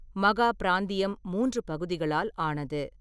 மகா பிராந்தியம் மூன்று பகுதிகளால் ஆனது.